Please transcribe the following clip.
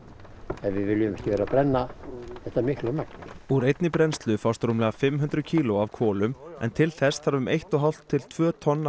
ef við viljum ekki vera að brenna þetta miklu magni úr einni brennslu fást rúmlega fimm hundruð kíló af kolum en til þess þarf um eitt og hálft til tvö tonn af